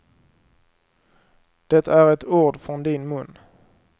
Det är ett ord från din mun.